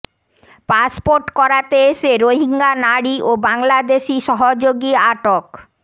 passport করাতে এসে Rohingya নারী ও বাংলাদেশি সহযোগী আটক